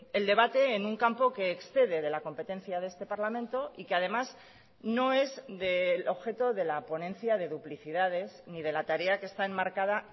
el debate en un campo que excede de la competencia de este parlamento y que además no es del objeto de la ponencia de duplicidades ni de la tarea que está enmarcada